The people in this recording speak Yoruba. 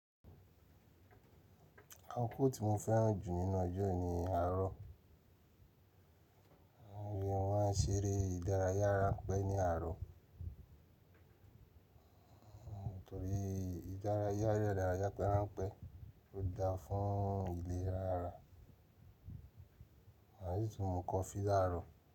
Akọkọ tí mo fẹ́ràn jù nínú ọjọ́ ni àárọ̀. Mọ máà n ṣeré ìdárayá ráńpẹ́ ní àárọ̀. Nítorí ìdárayá rẹ́dàrayá pẹ́ráńpẹ́ ó dáa fún ìlera ara. Maa si tun nu coffee laaro.